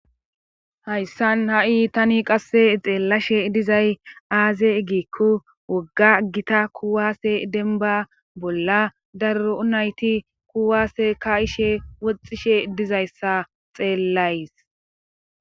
Hayssan ha7i qasse xeelashe dizay aaze giikko wogga gita kuwaase dembba bolla darro nayti kuuwaase kaa7ishe woxxishe dizayssa xeellays.